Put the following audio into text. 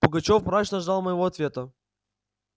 пугачёв мрачно ждал моего ответа